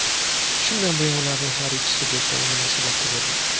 Shundan buyon ularning har ikkisi do‘stona munosabatda bo‘lgan.